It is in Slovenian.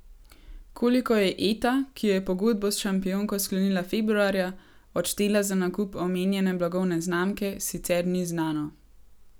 Koliko je Eta, ki je pogodbo s Šampionko sklenila februarja, odštela za nakup omenjene blagovne znamke, sicer ni znano.